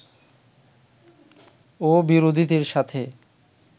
ও বিরোধীদের সাথে